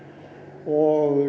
og